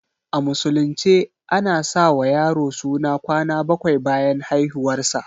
A musulunce a na sa wa yaro suna kwana baƙwai bayan haihuwar sa